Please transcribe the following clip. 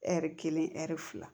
Ɛri kelen ɛri fila